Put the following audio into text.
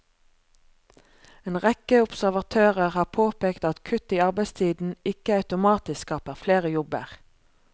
En rekke observatører har påpekt at kutt i arbeidstiden ikke automatisk skaper flere jobber.